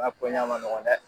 man nɔgɔn dɛ.